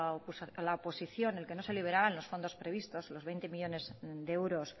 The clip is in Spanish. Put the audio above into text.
oposición el que no se liberaban los fondos previstos los veinte millónes de euros